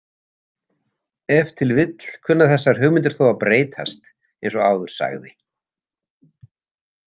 Ef til vill kunna þessar hugmyndir þó að breytast eins og áður sagði.